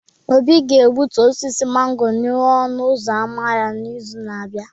Obi ga-egbutu osisi mango n'ihu ọnụ ụzọ ámá ya n'izu na-abịa